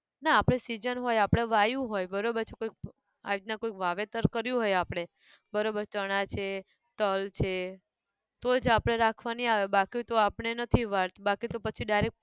ના આપણે season હોય આપણે વાયુ હોય બરોબર છે પ. આ રીતના કોઈક વાવેતર કર્યું હોય આપણે બરોબર છે ચણા છે તલ છે તો જ આપણે રાખવાની આવે બાકી તો આપણે નથી વાત બાકી તો પછી direct